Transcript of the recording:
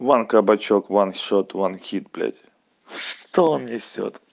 ван кабачок ван шот ван хит блять что он несёт